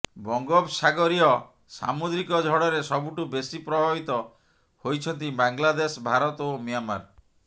ବଙ୍ଗୋପସାଗରୀୟ ସାମୁଦ୍ରିକ ଝଡ଼ରେ ସବୁଠୁ ବେଶୀ ପ୍ରଭାବିତ ହୋଇଛନ୍ତି ବାଂଲାଦେଶ ଭାରତ ଓ ମିଆଁମାର